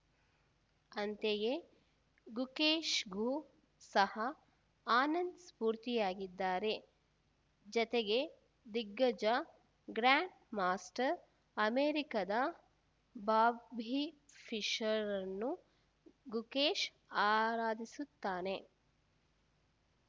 ಅಂತೆಯೇ ಗುಕೇಶ್‌ಗೂ ಸಹ ಆನಂದ್‌ ಸ್ಫೂರ್ತಿಯಾಗಿದ್ದಾರೆ ಜತೆಗೆ ದಿಗ್ಗಜ ಗ್ರ್ಯಾಂಡ್‌ ಮಾಸ್ಟರ್‌ ಅಮೆರಿಕದ ಬಾಬ್ಬಿ ಫಿಶರ್‌ರನ್ನೂ ಗುಕೇಶ್‌ ಆರಾಧಿಸುತ್ತಾನೆ